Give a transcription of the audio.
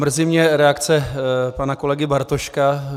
Mrzí mě reakce pana kolegy Bartoška.